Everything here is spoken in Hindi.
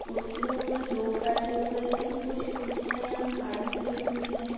कुर्सियों पर लोग बैठे हुए है। कुछ कुर्सियाँ यहाँ खाली भी रखी हुई है।